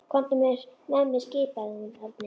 Komdu með mér skipaði hún Erni.